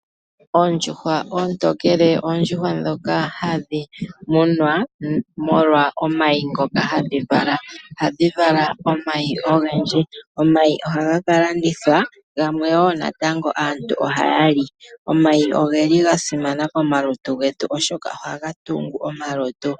Oondjuhwa oontokele, oondjuhwa ndhoka hadhi munwa molwa omayi ngoka hadhi vala. Ohadhi vala omayi ogendji. Omayi ohaga ka landithwa, gamwe wo natango aantu ohaya li. Omayi oge li ga simana komalutu getu, oshoka ohaga tungu omalutu.